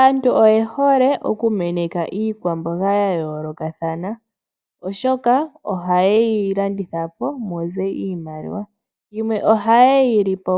Aantu oye hole oku kuna iikwamboga ya yoolokathana . Oshoka oha ye yi landithapo muze iimaliwa . Yimwe oha yeyi lipo